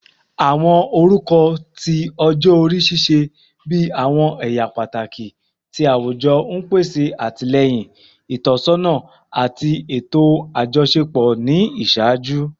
Awọn orukọ ti ọjọ-ori ṣiṣẹ bi awọn ẹya pataki ti awujọ, n pese atilẹyin, itọsọna, ati eto ajọṣepọ ni iṣaaju.